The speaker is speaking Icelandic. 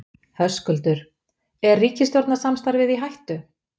Höskuldur: Er ríkisstjórnarsamstarfið í hættu?